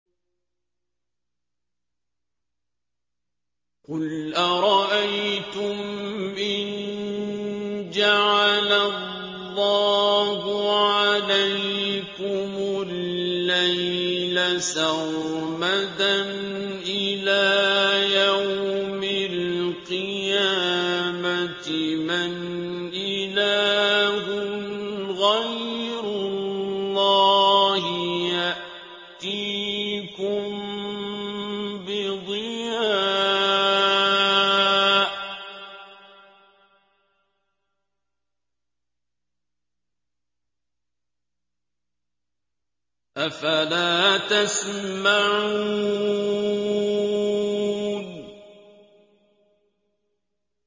قُلْ أَرَأَيْتُمْ إِن جَعَلَ اللَّهُ عَلَيْكُمُ اللَّيْلَ سَرْمَدًا إِلَىٰ يَوْمِ الْقِيَامَةِ مَنْ إِلَٰهٌ غَيْرُ اللَّهِ يَأْتِيكُم بِضِيَاءٍ ۖ أَفَلَا تَسْمَعُونَ